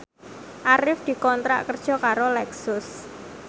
Arif dikontrak kerja karo Lexus